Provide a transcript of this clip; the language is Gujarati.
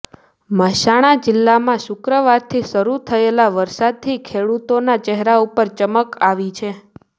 મહેસાણા જીલ્લામાં શુક્રવારથી શરૂ થયેલા વરસાદથી ખેડુતોના ચહેરા ઉપર ચમક આવી છે